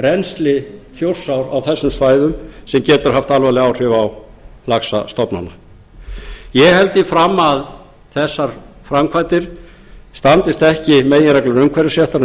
rennsli þjórsár á þessum svæðum sem getur haft alvarleg áhrif á laxastofnana ég held því fram að þessar framkvæmdir standist ekki meginreglur umhverfisréttar um